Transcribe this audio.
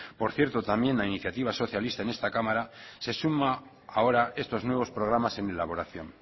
por cierto también a iniciativa socialista en esta cámara se suma ahora estos nuevos programas en elaboración